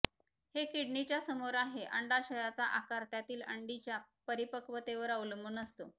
हे किडनीच्या समोर आहे अंडाशयाचा आकार त्यातील अंडीच्या परिपक्वतेवर अवलंबून असतो